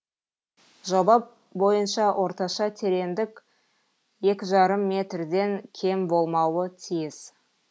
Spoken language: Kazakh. жоба бойынша орташа тереңдік екі жарым метрден кем болмауы тиіс